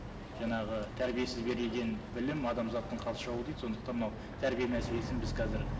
жаңағы тәрбиесіз берілген білім адамзаттың қас жауы дейді сондықтан мынау тәрбие мәселесін біз қазір